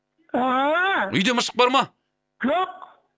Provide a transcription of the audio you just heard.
ааа үйде мышық бар ма жоқ